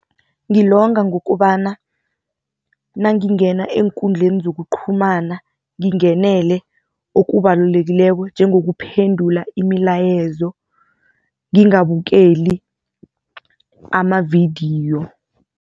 Ngilonga ngokubana nangingena eenkundleli zokuqhumana ngingenele okubalulekileko njengokuphendula imilayezo, ngingabukeli amavidiyo.